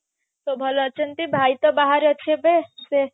ସବୁ ଭଲ ଅଛନ୍ତି ଭାଇ ତ ବାହାରେ ଅଛି ଏବେ ସେ